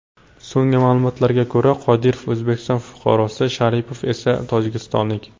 So‘nggi ma’lumotlarga ko‘ra, Qodirov O‘zbekiston fuqarosi, Sharipov esa tojikistonlik.